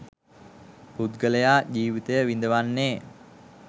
පුද්ගලයා ජීවිතය විඳවන්නේ